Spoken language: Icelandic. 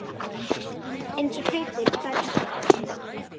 Eins og hlutir færðust til.